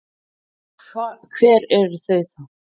Og hver eru þau þá?